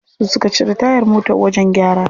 Su suka cire tayar mota wajen gyara.